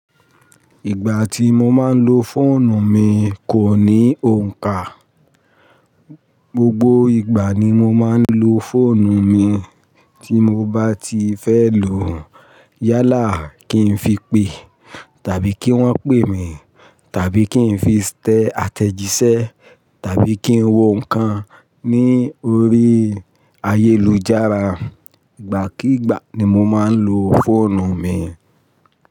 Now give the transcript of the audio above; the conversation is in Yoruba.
Ìgbà tí mo máa ń lo fóònù mi kò ní òǹkà. Gbogbo ìgbà ni mo máa ń lo fóònù mi tí mo bá ti fẹ́ lòó. Yálà kí n fi pe, tàbí kí wọ́n pè mi, tàbí kí n fi tẹ àtẹ̀jíṣẹ́, tàbí kí n wo nǹkan ní orí ayélujára. Ìgbàkígbà ni mo máa ń lo fóònù mi.